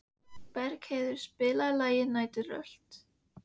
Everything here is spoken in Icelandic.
Bergheiður, spilaðu lagið „Næturrölt“.